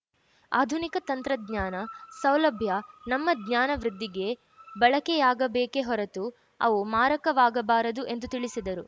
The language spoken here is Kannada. ಆಧುನಿಕ ತಂತ್ರಜ್ಞಾನ ಸೌಲಭ್ಯ ನಮ್ಮ ಜ್ಞಾನ ವೃದ್ಧಿಗೆ ಬಳಕೆಯಾಗಬೇಕೆ ಹೊರತು ಅವು ಮಾರಕವಾಗಬಾರದು ಎಂದು ತಿಳಿಸಿದರು